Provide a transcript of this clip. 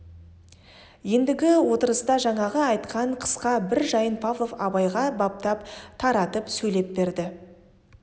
ендігі отырыста жаңағы айтқан қысқа бір жайын павлов абайға баптап таратып сөйлеп берді